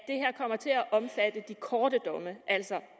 det korte domme altså